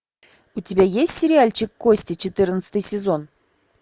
у тебя есть сериальчик кости четырнадцатый сезон